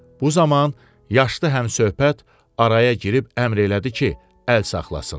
Bu zaman yaşlı həmsöhbət araya girib əmr elədi ki, əl saxlasın.